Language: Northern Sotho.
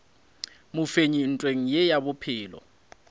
mofenyi ntweng ye ya bophelo